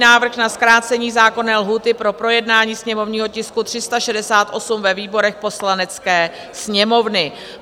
Návrh na zkrácení zákonné lhůty pro projednání sněmovního tisku 368 ve výborech Poslanecké sněmovny